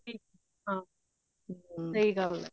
ਹਾਂ ਸਹੀ ਗੱਲ ਹੈ